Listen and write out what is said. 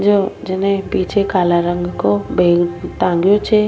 काला रंग को बेग टांगो छ।